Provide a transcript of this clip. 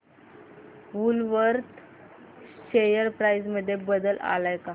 Woolworth share price मध्ये बदल आलाय का